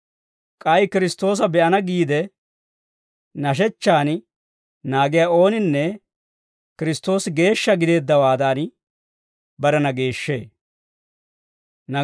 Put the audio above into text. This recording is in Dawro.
K'ay Kiristtoosa be'ana giide nashechchan naagiyaa ooninne Kiristtoosi geeshsha gideeddawaadan, barena geeshshee.